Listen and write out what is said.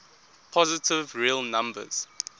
positive real numbers